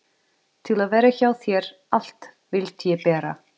Til að vera hjá þér allt vildi ég bera.